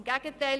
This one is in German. Im Gegenteil!